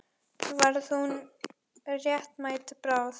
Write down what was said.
Varð hún þá réttmæt bráð?